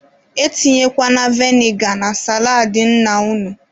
E tinyekwana veniga na saladị nna unu.